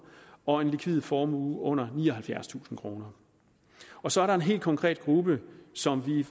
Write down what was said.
og en likvid formue under nioghalvfjerdstusind kroner og så er der en helt konkret gruppe som